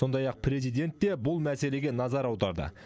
сондай ақ президент те бұл мәселеге назар аударды